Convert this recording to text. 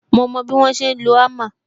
Mo mo bí wọ́n ṣe ń lo hammer